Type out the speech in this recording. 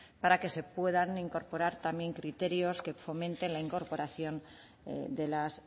para que se puedan incorporar también criterios que fomenten la incorporación de las